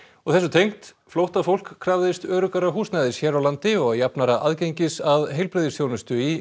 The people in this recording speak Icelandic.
og þessu tengt flóttafólk krafðist öruggara húsnæðis hér á landi og jafnara aðgengis að heilbrigðisþjónustu í